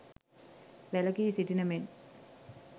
වැළකී සිටින මෙන්